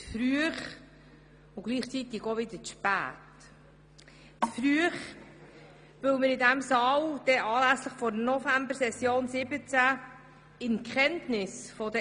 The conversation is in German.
Sie ist verfrüht, weil wir in diesem Saal anlässlich der Novembersession 2017 eine steuerpolitische Grundsatzdebatte führen werden.